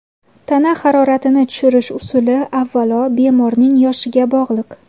Tana haroratini tushirish usuli avvalo, bemorning yoshiga bog‘liq.